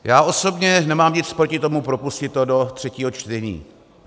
Já osobně nemám nic proti tomu propustit to do třetího čtení.